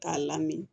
K'a lamini